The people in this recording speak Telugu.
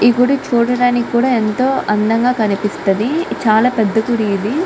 ఈ గుడి చూడడానికి కూడా ఎంతో అందం గ కనిపిస్తది చాల పేద గుడి ఇది.